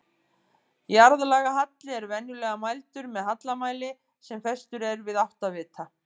Jarðlagahalli er venjulega mældur með hallamæli sem festur er við áttavita.